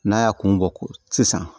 N'a y'a kun bɔ ko sisan